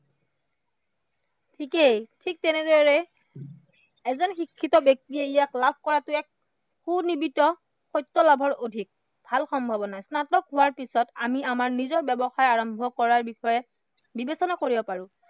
ঠিকেই, ঠিক তেনেদৰে এজন শিক্ষিত ব্য়ক্তিয়ে ভাল সম্ভাৱনা। স্নাতক হোৱাৰ পিছত আমাৰ নিজৰ ব্য়ৱসায় আৰম্ভ কৰাৰ বিষয় বিবেচনা কৰিব পাৰো